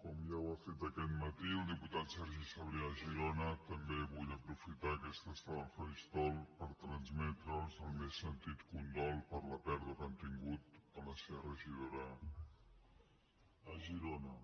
com ja ho ha fet aquest matí el diputat sergi sabrià a girona també vull aprofitar aquesta estona al faristol per transmetre’ls el més sentit condol per la pèrdua que han tingut de la seva regidora a girona